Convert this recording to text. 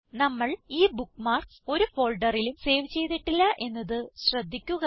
നമ്മൾ ഈ ബുക്ക്മാർക്സ് ഒരു ഫോൾഡറിലും സേവ് ചെയ്തിട്ടില്ല എന്നത് ശ്രദ്ധിക്കുക